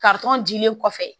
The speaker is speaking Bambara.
dilen kɔfɛ